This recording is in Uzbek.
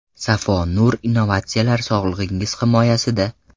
Safo Nur innovatsiyalar sog‘lig‘ingiz himoyasida.